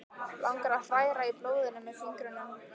Langar að hræra í blóðinu með fingrunum.